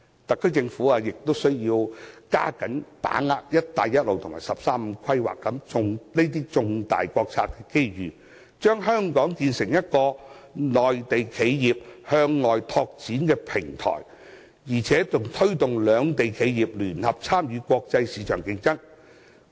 特區政府亦須要加緊把握"一帶一路"及"十三五"規劃等重大國策的機遇，把香港建成一個內地企業向外拓展的平台，並推動兩地企業聯合參與國際市場競爭。